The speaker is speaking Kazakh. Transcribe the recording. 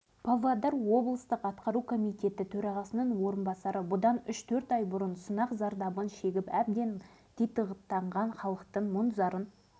павлодар облысы оның мамыр ауданын аралаған сапарымызда тілдескен адамдарымыздың бәрі полигон жабылса екен ауыр тұрмысымызға мемлекет тарапынан көмек